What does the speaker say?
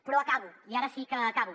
però acabo i ara sí que acabo